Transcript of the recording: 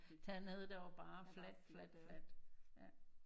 Dernede der var bare fladt fladt fladt ja